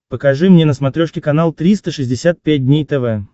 покажи мне на смотрешке канал триста шестьдесят пять дней тв